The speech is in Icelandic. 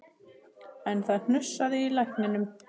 En það hnussaði í lækninum